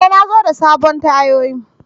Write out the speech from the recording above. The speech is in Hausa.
E! Na zo da sabon tayoyi.